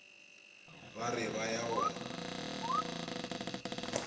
ba re ba ya go